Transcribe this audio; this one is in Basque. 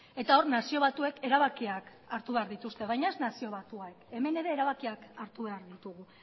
eta hor nazio batuek erabakiak hartu behar dituzte baina ez nazio batuak hemen ere erabakiak hartu behar ditugu